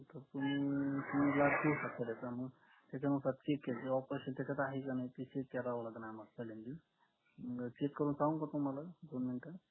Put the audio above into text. हम्म त्याचानुसार येईल offers यील आहे का नाही check करावं लागेल आम्हाला पहिल्यांदी check करून सांगू का तुम्हाला दोन मिनिटं